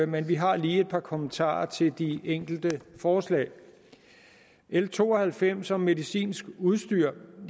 men vi har lige et par kommentarer til de enkelte forslag l to og halvfems om medicinsk udstyr